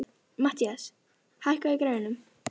Mathías, hækkaðu í græjunum.